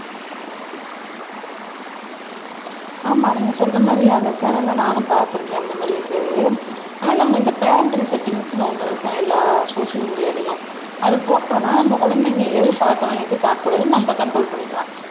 ஆமா நீங்க சொல்ற மாதிரி அந்த சேனல்ல நானும் பார்த்திருக்கேன் அந்த மாதிரி இருக்கிறது ஆனா நம்ம இந்த பேரண்டல் செட்டிங்ஸ்ன்னு ஒண்ணு இருக்கும் எல்லா சோசியல் மீடியாலயும் அதை போட்டோம்ன்னா நம்ம குழந்தைங்க எது பார்க்கலாம் எது பார்க்கக் கூடாதுன்னு நம்ம கண்ட்ரோல் பண்ணிக்கலாம்